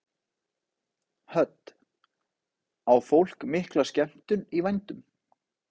Hödd: Á fólk mikla skemmtun í vændum?